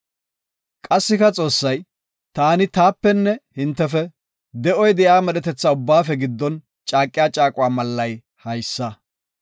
Qassika Xoossay, “Taani taapenne hintefe, de7oy de7iya medhetetha ubbaafe giddon caaqiya caaquwa mallay haysa;